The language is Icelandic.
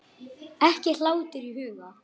Ekki hlátur í huga.